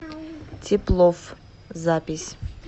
теплофф запись